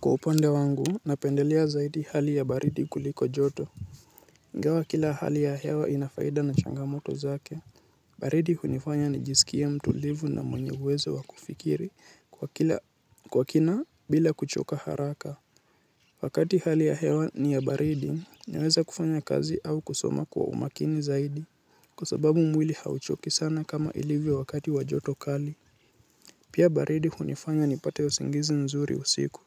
Kwa upande wangu, napendelea zaidi hali ya baridi kuliko joto. Ingawa kila hali ya hewa ina faida na changamoto zake. Baridi hunifanya nijisikie mtulivu na mwenye uwezo wakufikiri kwa kila kwa kina bila kuchoka haraka. Wakati hali ya hewa ni ya baridi, naweza kufanya kazi au kusoma kwa umakini zaidi. Kwa sababu mwili hauchoki sana kama ilivyo wakati wa joto kali. Pia baridi hunifanya nipate usingizi mzuri usiku.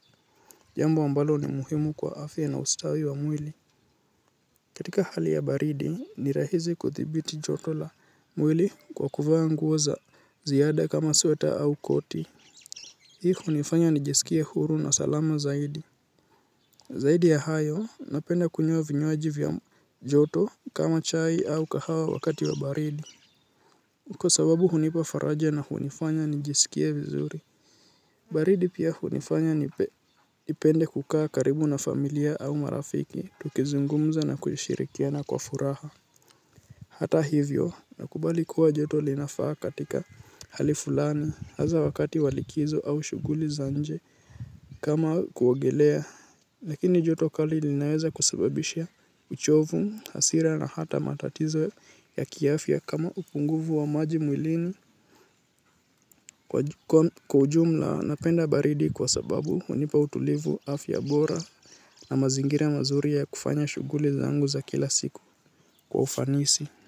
Jambo ambalo ni muhimu kwa afya na ustawi wa mwili. Katika hali ya baridi, ni rahizi kudhibiti joto la mwili kwa kuvaa nguo za ziada kama sweta au koti. Hii hunifanya nijisikie huru na salama zaidi. Zaidi ya hayo, napenda kunywa vinywaji vya joto kama chai au kahawa wakati wa baridi. Kwa sababu hunipa faraja na hunifanya nijisikie vizuri. Baridi pia hunifanya nipende kukaa karibu na familia au marafiki tukizungumza na kushirikiana kwa furaha. Hata hivyo nakubali kuwa joto linafaa katika hali fulani hasa wakati wa likizo au shuguli za nje kama kuogelea. Lakini joto kali linaweza kusababishia uchovu, hasira na hata matatizo ya kiafya kama upunguvu wa maji mwilini. Kwa ujumla napenda baridi kwa sababu hunipa utulivu afya bora na mazingira mazuri ya kufanya shuguli zangu za kila siku kwa ufanisi.